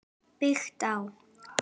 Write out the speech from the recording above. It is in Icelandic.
Byggt á